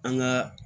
An ka